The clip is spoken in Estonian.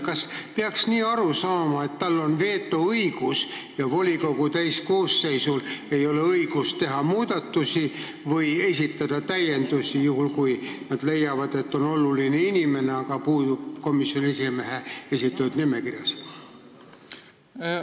Kas peaks nii aru saama, et tal on vetoõigus ja volikogu täiskoosseisul ei ole õigust teha muudatusi või esitada täiendusi, kui nad leiavad, et oluline inimene puudub komisjoni esimehe esitatud nimekirjas?